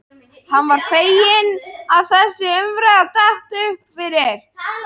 Hann var feginn að þessi umræða datt upp fyrir.